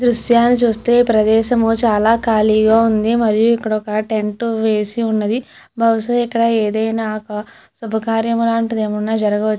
దృశ్యని చూస్తే ప్రదేశం చాలా ఖాళీగా ఉంది మరియు ఇక్కడొక టెంట్ వేసి ఉన్నది బహుశా ఇక్కడ ఏదైనా శుభకార్యం లాంటిదే జరగవచ్చు.